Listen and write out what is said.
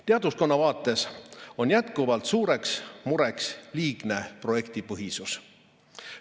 Teadlaskonna vaates on jätkuvalt suureks mureks liigne projektipõhisus.